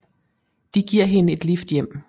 De giver hende et lift hjem